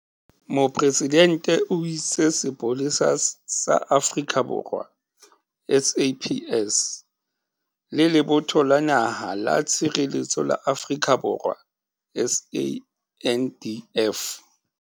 Mopresidente o itse Sepolesa sa Afrika Borwa, SAPS le Lebotho la Naha la Tshireletso la Afrika Borwa, SANDF.